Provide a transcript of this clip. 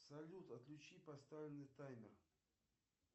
салют отключи поставленный таймер